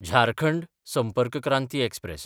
Jharkhand Sampark Kranti express